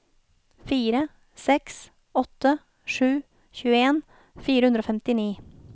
fire seks åtte sju tjueen fire hundre og femtini